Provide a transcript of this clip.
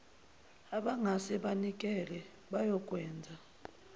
abangase banikele bayokwenza